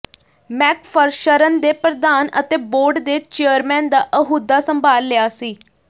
ਮੈਕਫ੍ਰਸ਼ਰਨ ਨੇ ਪ੍ਰਧਾਨ ਅਤੇ ਬੋਰਡ ਦੇ ਚੇਅਰਮੈਨ ਦਾ ਅਹੁਦਾ ਸੰਭਾਲ ਲਿਆ ਸੀ